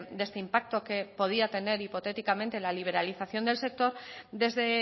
de este impacto que podría tener hipotéticamente la liberalización del sector desde